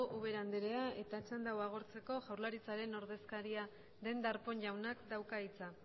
ubera andrea eta txanda hau agortzeko jaurlaritzaren ordezkaria den darpón jaunak dauka hitza